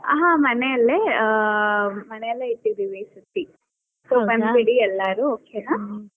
ಹಾ, ಮನೆಯಲ್ಲೆ ಆ ಮನೆಯಲ್ಲೆ ಇಟ್ಟಿದೀವಿ ಈ ಸರ್ತಿ so ಬಂದ್ ಬಿಡಿ ಎಲ್ಲರೂ okay ನಾ.